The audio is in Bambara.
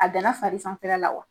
A danna fari sanfɛla la wa